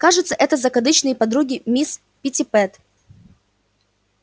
кажется это закадычные подруги мисс питтипэт